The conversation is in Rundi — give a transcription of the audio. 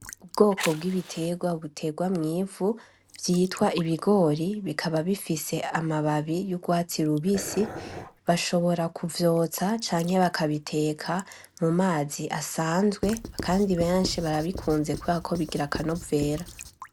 Ubwoko bw’ibiterwa buterwa mw'ivu vyitwa ibigori, bikaba bifise amababi y’urwatsi rubisi; bashobora kuvyotsa canke bakabiteka mu mazi asanzwe kandi benshi barabikunze kubera ko bigize akanovera.